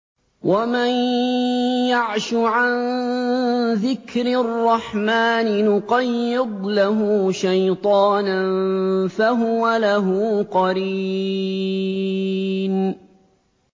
وَمَن يَعْشُ عَن ذِكْرِ الرَّحْمَٰنِ نُقَيِّضْ لَهُ شَيْطَانًا فَهُوَ لَهُ قَرِينٌ